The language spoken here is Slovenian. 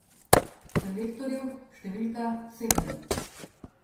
Selektorju številka sedem.